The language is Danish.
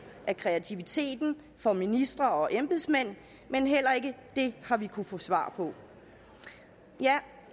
af kreativitet for ministre og embedsmænd men heller ikke det har vi kunnet få svar på